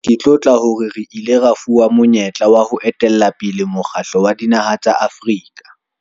Ke tlotla hore re ile ra fuwa monyetla wa ho etella pele Mokgatlo wa Dinaha tsa Afrika, AU.